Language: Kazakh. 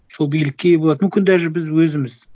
сол билікке ие болады мүмкін даже біз өзіміз